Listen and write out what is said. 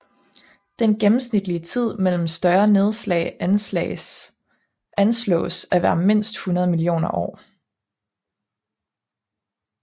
Den gennemsnitlige tid mellem større nedslag anslås at være mindst 100 millioner år